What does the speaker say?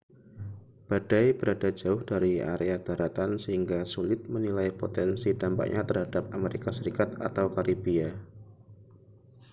badai berada jauh dari area daratan sehingga sulit menilai potensi dampaknya terhadap amerika serikat atau karibia